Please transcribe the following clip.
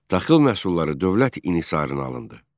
Taxıl məhsulları dövlət inhisarına alındı.